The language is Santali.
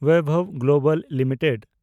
Vaibhav global limited